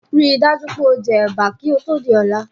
Ríi dájú pé o je Ẹ̀bà kí ó Tóò di ọ̀la